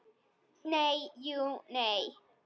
Nei, jú, nei.